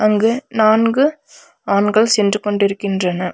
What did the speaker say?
அங்கு நான்கு ஆண்கள் சென்று கொண்டிருக்கின்றன.